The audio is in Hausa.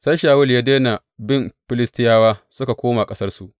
Sai Shawulu ya daina bin Filistiyawa, suka koma ƙasarsu.